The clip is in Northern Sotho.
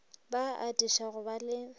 ba atiša go ba le